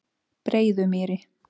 Breiðumýri